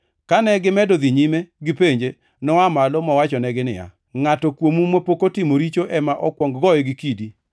Kane gimedo dhi nyime gipenje, noa malo mowachonegi niya, “Ngʼato kuomu mapok otimo richo ema okuong goye gi kidi.”